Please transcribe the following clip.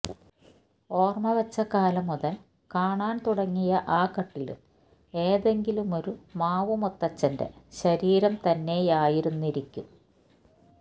ഓർമവെച്ച കാലം മുതൽ കാണാൻ തുടങ്ങിയ ആ കട്ടിലും ഏതെങ്കിലുമൊരു മാവുമുത്തച്ഛന്റെ ശരീരം തന്നെയായിരുന്നിരിക്കും